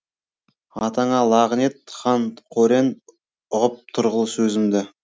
атаңа лағынет хан қорен ұғып тұрғыл сөзімді